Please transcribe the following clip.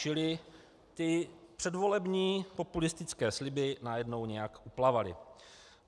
Čili ty předvolební populistické sliby najednou nějak uplavaly.